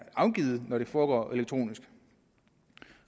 afgivet når det foregår elektronisk